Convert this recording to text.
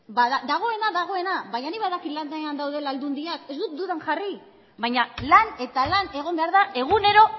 dagoena dagoena baina nik badakit lanean daudela aldundiak ez dut dudan jarri baina lan eta lan egon behar da egunero